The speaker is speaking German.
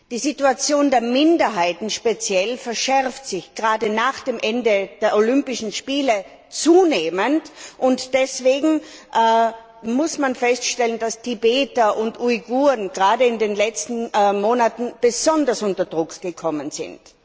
Die Situation der Minderheiten speziell hat sich gerade nach dem Ende der Olympischen Spiele zunehmend verschärft, und deswegen muss man feststellen, dass Tibeter und Uiguren gerade in den letzten Monaten besonders unter Druck geraten sind.